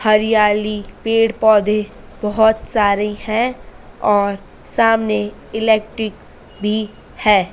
हरियाली पेड़ पौधे बहोत सारे हैं और सामने इलेक्टिक भी है।